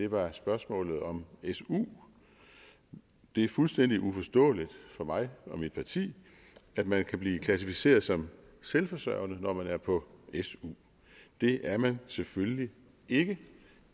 var spørgsmålet om su det er fuldstændig uforståeligt for mig og mit parti at man kan blive klassificeret som selvforsørgende når man er på su det er man selvfølgelig ikke